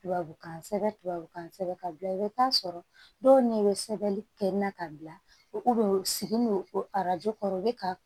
Tubabukan sɛbɛn tubabukan sɛbɛn ka bila i bɛ taa sɔrɔ dɔw n'i bɛ sɛbɛnni kɛ na ka bila u segin don o arajo kɔrɔ u bɛ ka